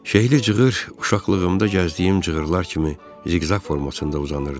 Şehli cığır uşaqlığımda gəzdiyim cığırlar kimi ziqzaq formasında uzanırdı.